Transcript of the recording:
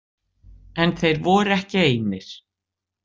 En þeir voru ekki einir.